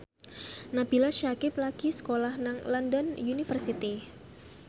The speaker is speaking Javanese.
Nabila Syakieb lagi sekolah nang London University